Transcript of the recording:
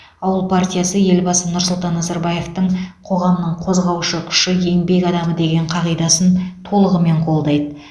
ауыл партиясы елбасы нұрсұлтан назарбаевтың қоғамның қозғаушы күші еңбек адамы деген қағидасын толығымен қолдайды